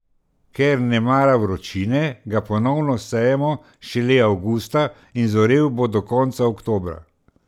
Ker ne mara vročine, ga ponovno sejemo šele avgusta in zorel bo do konca oktobra.